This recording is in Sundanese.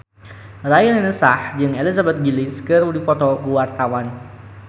Raline Shah jeung Elizabeth Gillies keur dipoto ku wartawan